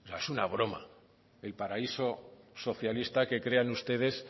es una broma el paraíso socialista que crean ustedes